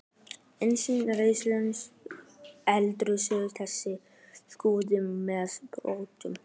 Ásgeir Erlendsson: Deilirðu þeirri skoðun með Pírötum?